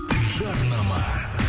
жарнама